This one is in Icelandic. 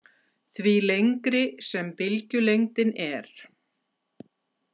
Því lengri sem bylgjulengdin er.